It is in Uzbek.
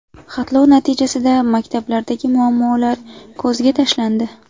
Xatlov natijasida maktablardagi muammolar ko‘zga tashlandi.